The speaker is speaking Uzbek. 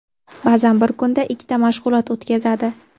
Ba’zan bir kunda ikkita mashg‘ulot o‘tkazadi.